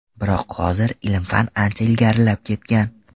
Biroq hozir ilm-fan ancha ilgarilab ketgan.